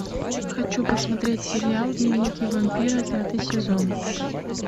хочу посмотреть сериал дневники вампира пятый сезон